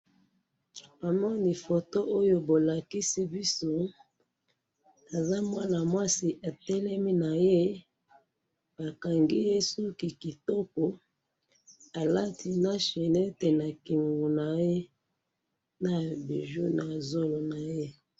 Namoni photo oyo bolakisi biso aza mwana mwasi atelemi na ye, bakangi ye suki kitoko alati na chainette na kingo na ye na bijou na zolo na ye